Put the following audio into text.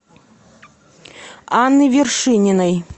анны вершининой